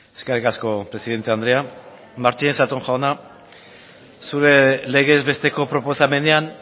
eskerrik asko presidente andrea martínez zatón jauna zure legez besteko proposamenean